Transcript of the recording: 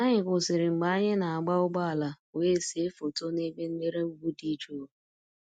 Anyị kwụsịrị mgbe anyị na-agba ụgbọala wee see foto n'ebe nlere ugwu dị jụụ